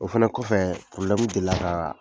O fɛnɛ kɔfɛ deli la ka